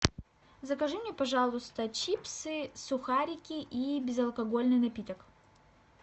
закажи мне пожалуйста чипсы сухарики и безалкогольный напиток